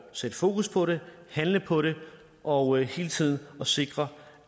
sætte fokus på det handle på det og hele tiden sikre